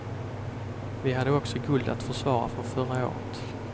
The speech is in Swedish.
Vi hade också guld att försvara från förra året.